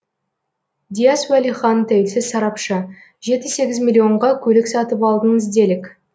дияс уәлихан тәуелсіз сарапшы жеті сегіз миллионға көлік сатып алдыңыз делік